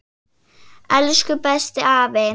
Elsku besti afi.